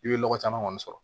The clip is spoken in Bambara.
I bɛ lɔgɔ caman kɔni sɔrɔ